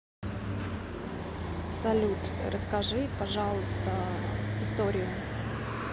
салют расскажи пожалуйста историю